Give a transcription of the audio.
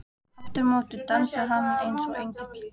. aftur á móti dansar hann eins og engill.